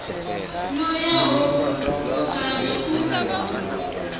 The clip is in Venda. no ya ho vhutukani u